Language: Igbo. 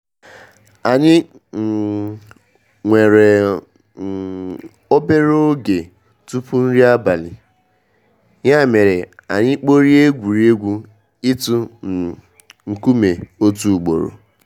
Anyị um nwere um obere oge tupu nri abali, ya mere anyị kporie egwuregwu ịtụ um nkume otu ugboro.